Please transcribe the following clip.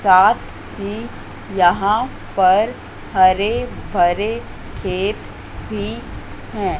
साथ ही यहां पर हरे भरे खेत भी हैं।